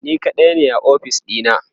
ni kaɗai ne a ofis ɗina